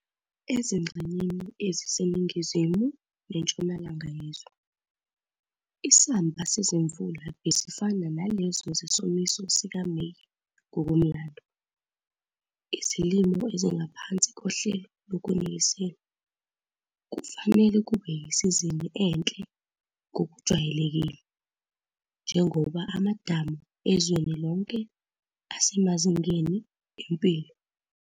Ezingxenyeni eziseningizimu-nentshonalanga yezwe, isamba sezimvula bezifana nalezo zesomiso sikaMeyi ngokomlando. Izilimo ezingaphansi kohlelo lokunisela, kufanele kube yisizini enhle ngokujwayelekile, njengoba amadamu ezweni lonke asemazingeni empilo.